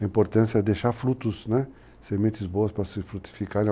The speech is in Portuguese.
A importância é deixar frutos, né? sementes boas para se frutificarem.